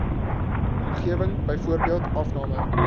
omgewing byvoorbeeld afname